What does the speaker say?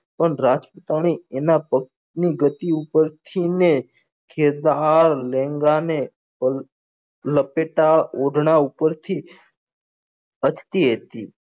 પણ રાજપૂતોની એના પત્ની ઉપર થઇ ને ખેદાર લચેકદાર ઓઢના ઉપર થી હસતી હતી